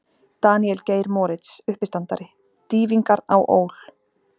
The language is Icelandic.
Daníel Geir Moritz, uppistandari: Dýfingar á ÓL.